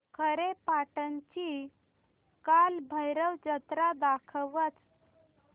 खारेपाटण ची कालभैरव जत्रा दाखवच